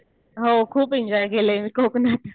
हो. खूप एन्जॉय केलं मी कोकणात.